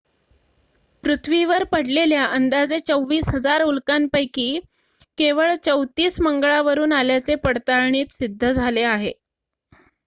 पृथ्वीवर पडलेल्या अंदाजे 24,000 उल्कांपैकी केवळ 34 मंगळावरून आल्याचे पडताळणीत सिद्ध झाले आहे